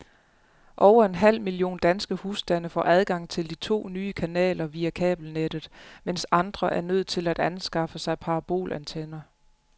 Over en halv million danske husstande får adgang til de to nye kanaler via kabelnettet, mens andre er nødt til at anskaffe sig parabolantenner.